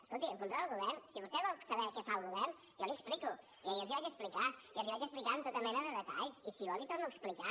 escolti si vostè vol saber què fa el govern jo l’hi explico i ahir els hi vaig explicar i els hi vaig explicar amb tota mena de detalls i si vol l’hi torno a explicar